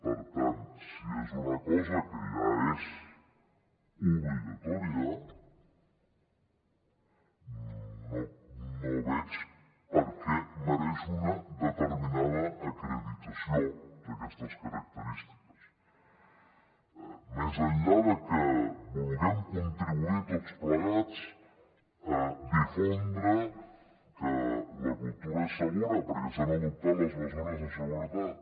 per tant si és una cosa que ja és obligatòria no veig per què mereix una determinada acreditació d’aquestes característiques més enllà de que vulguem contribuir tots plegats a difondre que la cultura és segura perquè s’han adoptat les mesures de seguretat